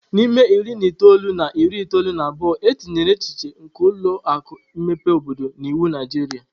N'ime iri na itoolu na iri itoolu na abụọ, e tinyere echiche nke ụlọ akụ mmepe obodo n'iwu Naijiria.